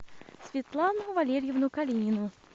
светлану валерьевну калинину